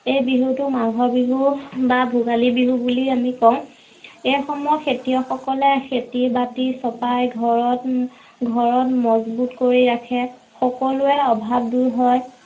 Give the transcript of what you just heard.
এই বিহুতো মাঘৰ বিহু বা ভোগালী বিহু বুলি আমি কওঁ। এইসময়ত খেতিয়ক সকলে খেতি বাতি চপাই ঘৰত ঘৰত মজ্বুত কৰি ৰাখে, সকলোৰে অভাৱ দুৰ হয়